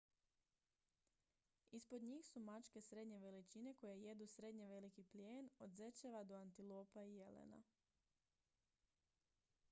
ispod njih su mačke srednje veličine koje jedu srednje veliki plijen od zečeva do antilopa i jelena